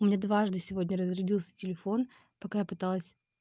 у меня дважды сегодня разрядился телефон пока я пыталась